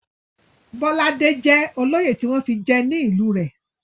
Bọ́ládé jẹ́ olóyè tí wọ́n fi jẹ ní ìlú rẹ̀.